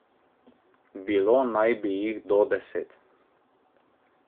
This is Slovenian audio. Bilo naj bi jih do deset.